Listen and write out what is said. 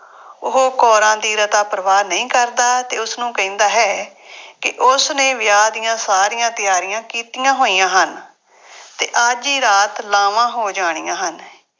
ਉਹ ਕੌਰਾਂ ਦੀ ਰਤਾ ਪਰਵਾਹ ਨਹੀਂ ਕਰਦਾ ਅਤੇ ਉਸਨੂੰ ਕਹਿੰਦਾ ਹੈ ਕਿ ਉਸਨੇ ਵਿਆਹ ਦੀਆਂ ਸਾਰੀਆਂ ਤਿਆਰੀਆਂ ਕੀਤੀਆ ਹੋਈਆ ਹਨ ਅਤੇ ਅੱਜ ਹੀ ਰਾਤ ਲਾਵਾਂ ਹੋ ਜਾਣੀਆਂ ਹਨ।